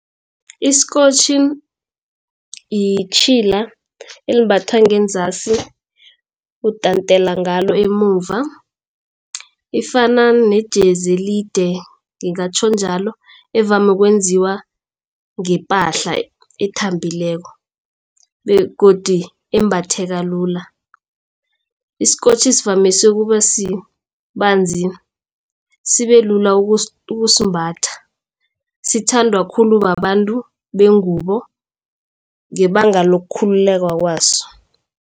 Isikotjhi yitjhila elimbathwa ngenzasi utantela ngalo emuva. Ifana nejezi elide ngingatjho njalo evame ukwenziwa ngepahla ethambileko begodu embatheka lula. Isikotjhi sivamise ukuba sibanzi sibe lula ukusimbatha. Sithandwa khulu babantu bengubo ngebanga lokukhululeka kwaso.